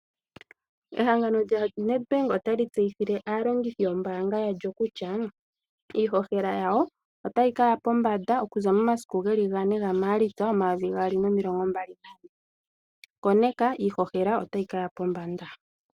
Ehangano lya Nedbank ota li tseyithile aalongithi yo mbaanga yalyo kutya iihohela yayo otayi kaya pombanda okuza momasiku 4 Maalitsa 2024, koneka iihohela otayi kaya pombanda.